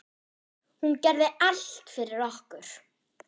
Hún gerði allt fyrir okkur.